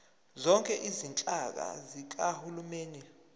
zonke izinhlaka zikahulumeni